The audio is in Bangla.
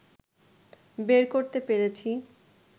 বের করতে পেরেছি